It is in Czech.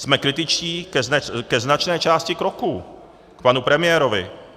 Jsme kritičtí ke značné části kroků, k panu premiérovi.